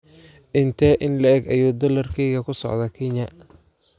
Intee in le'eg ayuu dollarkaygu ku socdaa Kenya?